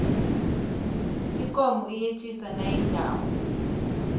ikomo iyetjisa nayidlako